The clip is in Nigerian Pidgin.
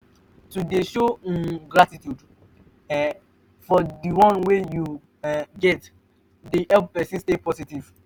to de show um gratitude um for di one wey you um get de help persin stay positive